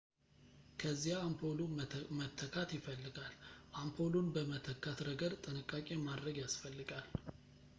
ከዚያ አምፖሉ መተካት ይፈልጋል አምፖሉን በመተካት ረገድ ጥንቃቄ ማድረግ ያስፈልጋል